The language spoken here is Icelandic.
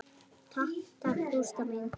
Takk takk, Gústa mín.